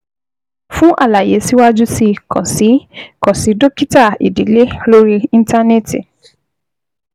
Fún àlàyé síwájú sí i, kàn sí i, kàn sí dókítà ìdílé lórí Íńtánẹ́ẹ̀tì